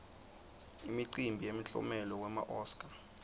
imicimbi yemiklomelo wema oscar